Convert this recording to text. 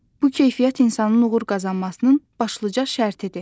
Bu keyfiyyət insanın uğur qazanmasının başlıca şərtidir.